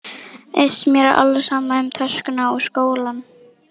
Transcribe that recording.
Iss, mér er alveg sama um töskuna og skólann